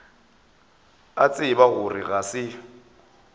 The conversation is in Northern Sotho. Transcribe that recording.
a tseba gore ga se